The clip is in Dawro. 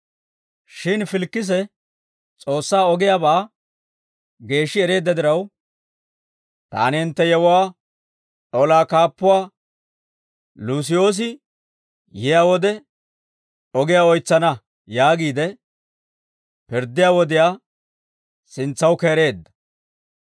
Shin Filikise S'oossaa ogiyaabaa geeshshi ereedda diraw, «Taani hintte yewuwaa olaa kaappuwaa Luusiyoosi yiyaa wode ogiyaa oytsana» yaagiide, pirddiyaa wodiyaa sintsaw keereedda.